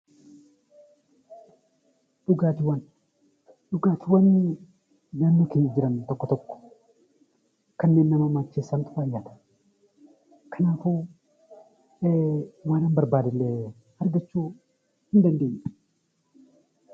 Dhugaatiiwwan naannoo keenya jiran tokko tokko kanneen nama macheessantu baay'ata. Kanaafuu naannoo barbaadnee argachuu dandeenya